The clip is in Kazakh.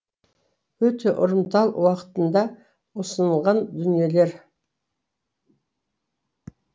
өте ұрымтал уақытында ұсынылған дүниелер